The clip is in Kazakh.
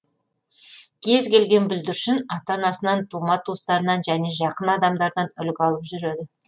кез келген бүлдіршін ата анасынан тума туыстарынан және жақын адамдардан үлгі алып жүреді